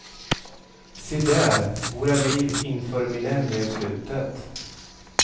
Se där våra liv inför millennieslutet.